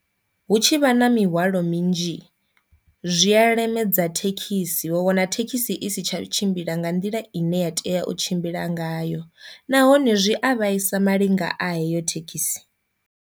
Hu tshi vha na mihwalo minzhi zwi a lemedza thekhisi vha wana thekhisi i si tsha tshimbila nga nḓila ine ya tea u tshimbila ngayo, nahone zwi a vhaisa malinga a heyo thekhisi.